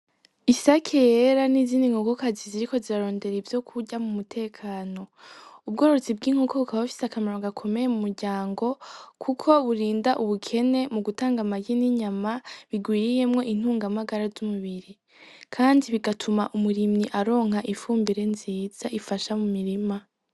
Isaki yera n'izininkogokazi ziri ko zirarondera ivyo kurya mu mutekano ubwororutsi bw'inkokoka ba fise akamarano gakomeye mu muryango, kuko burinda ubukene mu gutanga amaryi n'inyama bigwiriyemwo intungamagara z'umubiri, kandi bigatuma umurimyi aronka ifumbire nziza ifasha mu mirima.